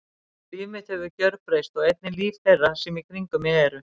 Líf mitt hefur gjörbreyst og einnig líf þeirra sem í kringum mig eru.